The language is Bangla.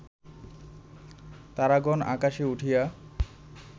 তারাগণ আকাশে উঠিয়া